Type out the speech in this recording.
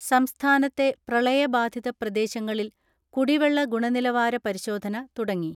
സംസ്ഥാനത്തെ പ്രളയ ബാധിത പ്രദേശങ്ങളിൽ കുടി വെള്ള ഗുണനിലവാര പരിശോധന തുടങ്ങി.